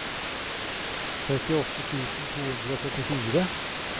trettiåtte tusen to hundre og førtifire